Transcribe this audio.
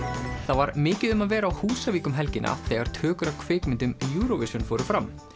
var mikið um að vera á Húsavík um helgina þegar tökur á kvikmynd um Eurovision fóru fram